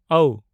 ᱣ